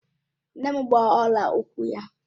Nne m gba ọla ukwu ya